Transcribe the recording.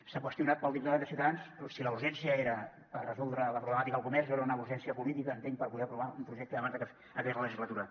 s’ha qüestionat pel diputat de ciutadans si la urgència era per resoldre la problemàtica del comerç o era una urgència política entenc per poder aprovar un projecte abans de que acabés la legislatura